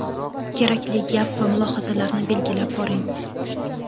kerakli gap va mulohazalarni belgilab boring.